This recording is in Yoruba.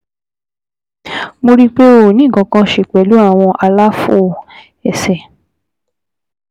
Mo rí i pé ó ó ní nǹkan kan ṣe pẹ̀lú àwọn àlàfo ẹsẹ̀